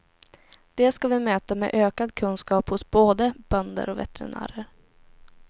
Det ska vi möta med ökad kunskap hos b å d e bönder och veterinärer.